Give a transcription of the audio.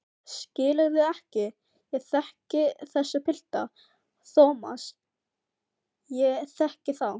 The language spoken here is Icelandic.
Skilurðu ekki, ég þekki þessa pilta, Thomas, ég þekki þá.